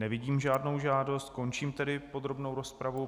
Nevidím žádnou žádost, končím tedy podrobnou rozpravu.